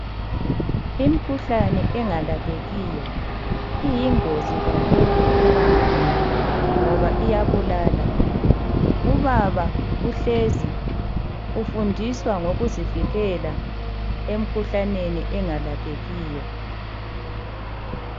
Imkhuhlane engalaphekiyo iyingozi kakhulu ebantwini ngoba iyabulala. Ubaba uhlezi ufundiswa ngokuzivikela emkhuhlaneni engalaphekiyo.